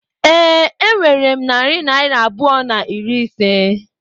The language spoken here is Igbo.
Ee, enwere m narị naira abụọ na iri ise.